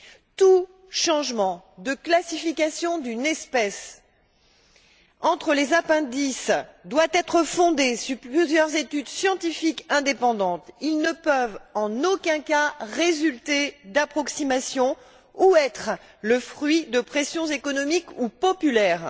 Tout changement de classification d'une espèce entre les appendices doit être fondé sur plusieurs études scientifiques indépendantes. Ces changements ne peuvent, en aucun cas, résulter d'approximations ou être le fruit de pressions économiques ou populaires.